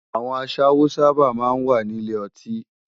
Awòn àṣáwó sàbá má n wá ni ilé òtín